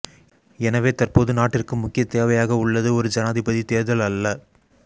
எனவே தற்போது நாட்டிற்கு முக்கிய தேவையாக உள்ளது ஒரு ஜனாதிபதி தேர்தல் அல்ல